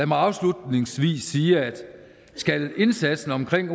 mig afslutningsvis sige at skal indsatsen omkring